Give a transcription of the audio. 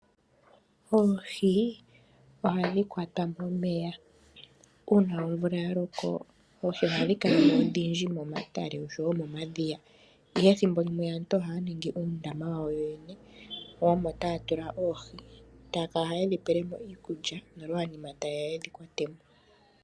Oohi ohadhi kwatwa momeya uuna omvula yaloko oohi ohadhinkalamo odhindji moma tale osho wo momadhiya. Ihe ehtimbo limwe aantu ohaya ningi uundama wayo yoyene omo taya tula oohi taakala haye dhipelemo iikulya nolwaanima tayeya yedhi kuthemo.